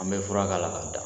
An bɛ fura k'a la k'a dan